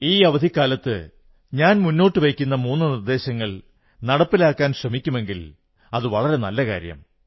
ഈ അവധിക്കാരം ഞാൻ മുന്നോട്ടു വയ്ക്കുന്ന മൂന്നു നിർദ്ദേശങ്ങൾ നടപ്പിലാക്കാനുപയോഗിക്കുമെങ്കിൽ വളരെ നല്ല കാര്യം